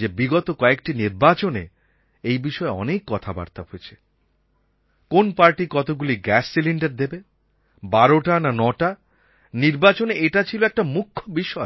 যে বিগত কয়েকটি নির্বাচনে এই বিষয়ে অনেক কথাবার্তা হয়েছে কোন পার্টি কতগুলি গ্যাস সিলিণ্ডার দেবে ১২টা না ৯টা নির্বাচনে এটা ছিল একটা মুখ্য বিষয়